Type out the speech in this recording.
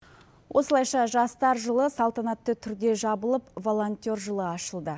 осылайша жастар жылы салтанатты түрде жабылып волонтер жылы ашылды